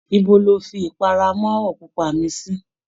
Ibo ni o fi ipara amáwọ̀ pupa mi sí?